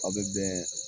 Aw bɛ bɛn